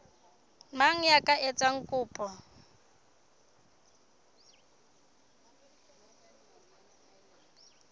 mang ya ka etsang kopo